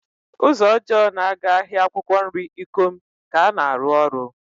Ụzọ ọjọọ na-aga ahịa akwụkwọ nri Ikom ka ana arụ ọrụ.